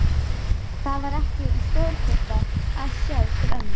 Það var stórkostlegt að sjá til ömmu.